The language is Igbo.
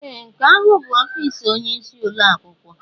Ee! Nke ahụ bụ ọfịs onyeisi ụlọ akwụkwọ.